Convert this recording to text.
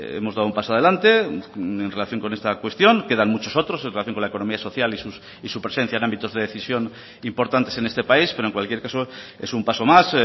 hemos dado un paso adelante en relación con esta cuestión quedan muchos otros en relación con la economía social y su presencia en ámbitos de decisión importantes en este país pero en cualquier caso es un paso más